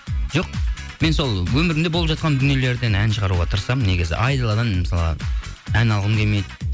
жоқ мен сол өмірімде болып жатқан дүниелерден ән шығаруға тырысамын негізі айдаладан мысалға ән алғым келмейді